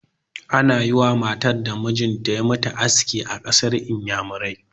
Ana yi wa matan da mijin ta ya mutu aski a ƙasar Inyamurai.